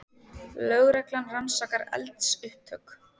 Lögreglan rannsakar eldsupptök